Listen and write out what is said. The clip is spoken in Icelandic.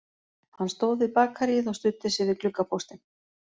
Hann stóð við bakaríið og studdi sig við gluggapóstinn